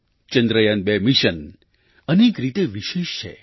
2 mission અનેક રીતે વિશેષ છે